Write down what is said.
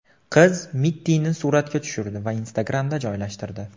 Qiz Mittini suratga tushirdi va Instagram’da joylashtirdi.